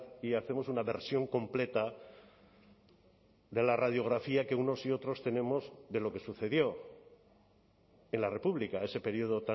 y hacemos una versión completa de la radiografía que unos y otros tenemos de lo que sucedió en la república ese periodo